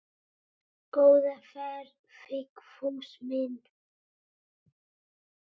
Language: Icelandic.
Góða ferð Vigfús minn.